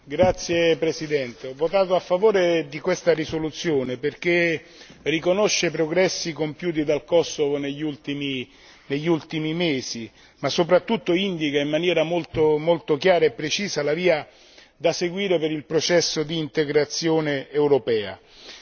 Signor Presidente, ho votato a favore di questa risoluzione perché riconosce i progressi compiuti dal Kosovo negli ultimi mesi ma, soprattutto, indica in maniera molto molto chiara e precisa la via da seguire per il processo di integrazione europea.